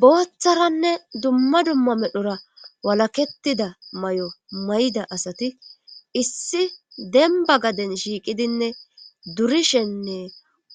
Booththaranne dumma dumma medhura walakettida may'o may'ida asati issi demba gaden shiiqidinne durishenne